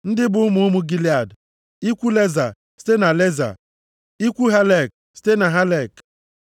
Ndị a bụ ụmụ ụmụ Gilead: ikwu Leza, site na Leza, ikwu Helek, site na Helek.